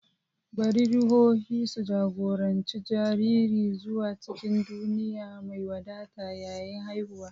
Bari ruhohi su jagoranci jariri zuwa cikin duniya mai wadata yayin haihuwa.